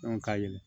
ka yɛlɛ